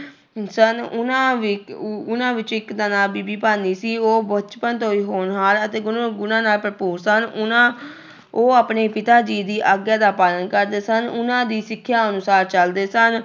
ਸਨ, ਉਹਨਾਂ ਵਿੱ ਉ ਉਹਨਾਂ ਵਿੱਚ ਇੱਕ ਦਾ ਨਾਂ ਬੀਬੀ ਭਾਨੀ ਸੀ, ਉਹ ਬਚਪਨ ਤੋਂ ਹੀ ਹੋਨਹਾਰ ਅਤੇ ਗੁਣ ਗੁਣਾਂ ਨਾਲ ਭਰਪੂਰ ਸਨ, ਉਹਨਾਂ ਉਹ ਆਪਣੇ ਪਿਤਾ ਜੀ ਦੀ ਆਗਿਆ ਦਾ ਪਾਲਣ ਕਰਦੇ ਸਨ, ਉਹਨਾਂ ਦੀ ਸਿੱਖਿਆ ਅਨੁਸਾਰ ਚੱਲਦੇ ਸਨ।